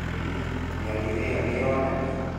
ĩ hihi mĩario ĩyo nĩironanio?